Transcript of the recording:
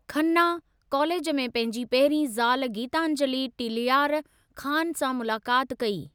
Khanna, college में पंहिंजी पहिरीं ज़ाल गीतांजली टीलयार ख़ान सां मुलाक़ात कई।